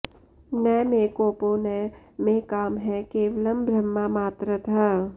न मे कोपो न मे कामः केवलं ब्रह्ममात्रतः